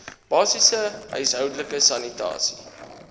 basiese huishoudelike sanitasie